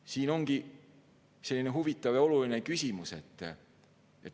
See ongi selline huvitav ja oluline küsimus.